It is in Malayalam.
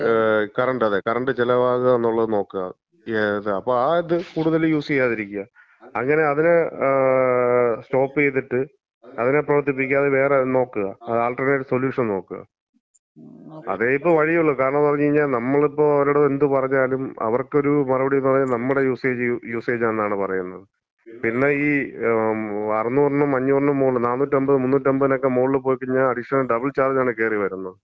കറണ്ട് അതെ, കറണ്ട് ചെലവാകുന്നുള്ളത് നോക്കാ. അപ്പം ആ ഇത് കൂടുതല് യൂസ് ചെയ്യാതിരിക്കാ. അങ്ങനെ അതിനെ സ്റ്റോപ്പ് ചെയ്തിട്ട് അതിനെ പ്രവർത്തിപ്പിക്കാതെ വേറെ നോക്കാ. അത് ആൾട്ടർനേറ്റ് സൊലൂഷൻ നോക്കാ. അതേയിപ്പം വഴിയുള്ളു. കാരണംന്ന് പറഞ്ഞ്കഴിഞ്ഞാ നമ്മളിപ്പം അവരോട് എന്ത് പറഞ്ഞാലും അവർക്കൊരു ഒരു മറുപടിന്ന് പറഞ്ഞ് കഴിഞ്ഞാ നമ്മളെ യൂസേജ്, നമ്മളെ യൂസേജാന്നാ പറയുന്നെ. പിന്നെ ഈ 600-നും 500-നും മോളില്, 450-നും 300-നക്കെ മോളില് പോയിക്കഴിഞ്ഞാ അഡീഷണല് ഡബിൾ ചാർജാണ് കേറി വരുന്നത്.